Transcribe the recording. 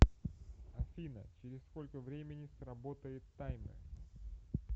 афина через сколько времени сработает таймер